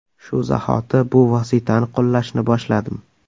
Shu zahoti bu vositani qo‘llashni boshladim.